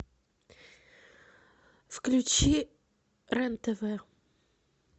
включи рен тв